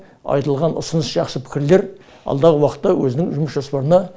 айтылған ұсыныс жақсы пікірлер алдағы уақытта өзінің жұмыс жоспарына